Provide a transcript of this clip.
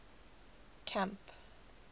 camp